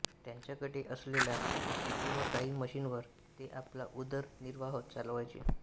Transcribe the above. त्यांच्याकडे असलेल्या शेती व गाई म्हशींवर ते आपला उदरनिर्वाह चालवायचे